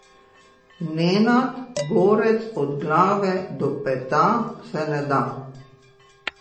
Nenad, borec od glave do peta, se ne da.